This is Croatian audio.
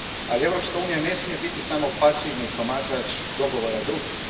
Ali, Europska unija ne smije biti samo pasivni promatrač dogovora drugih.